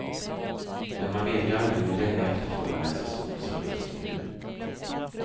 Men man vet ju aldrig hur länge efterfrågan är så stor som just nu.